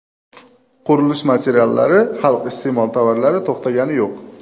Qurilish materiallari, xalq iste’mol tovarlari to‘xtagani yo‘q.